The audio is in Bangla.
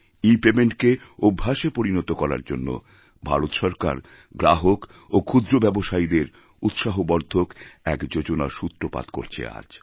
ইপেমেন্টকে অভ্যাসে পরিণত করার জন্য ভারত সরকার গ্রাহক এবং ক্ষুদ্রব্যবসায়ীদের উৎসাহবর্দ্ধক এক যোজনার সূত্রপাত করছে আজ